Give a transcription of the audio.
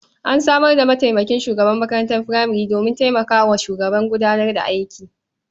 An samar da mataimakin shugaban makarantar furamare domin taimaka wa shugaba gudanar da aiki.